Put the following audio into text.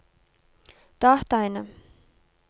dataene